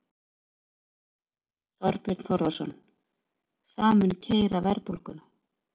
Þorbjörn Þórðarson: Það mun keyra verðbólguna?